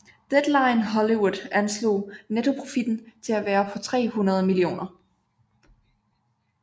Deadline Hollywood anslog nettoprofitten til at være på 300 mio